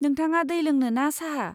नोंथाङा दै लोंनो ना साहा?